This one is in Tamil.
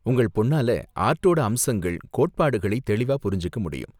உங்கள் பொண்ணால ஆர்டோட அம்சங்கள், கோட்பாடுகளை தெளிவா புரிஞ்சிக்க முடியும்.